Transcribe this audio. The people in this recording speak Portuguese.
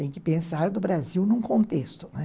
Tem que pensar do Brasil num contexto, né.